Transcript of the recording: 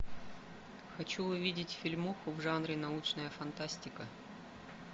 хочу увидеть фильмок в жанре научная фантастика